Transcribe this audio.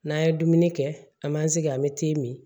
N'an ye dumuni kɛ an m'an sigi an be min